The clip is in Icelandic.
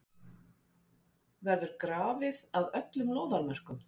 Verður grafið að öllum lóðarmörkum?